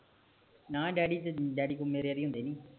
ਨਾ ਡੈਡੀ ਕੋਲ ਮੇਰੇ ਵਾਰੀ ਹੁੰਦੇ ਨੀਂ